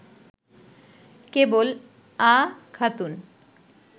কেবল “আ” খাতুন